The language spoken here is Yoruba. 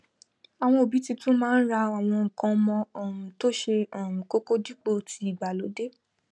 àwon òbí titun máá n ra àwon nkan omo um tó se um kókó dípò tii ìgbàlódé